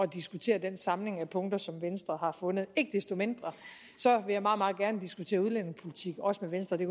diskutere den samling af punkter som venstre har fundet ikke desto mindre vil jeg meget meget gerne diskutere udlændingepolitik også med venstre det